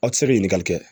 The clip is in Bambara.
Aw tɛ se ka ɲininkali kɛ